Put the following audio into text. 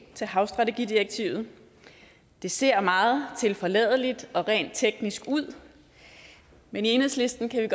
til havstrategidirektivet det ser meget tilforladeligt og rent teknisk ud men i enhedslisten kan vi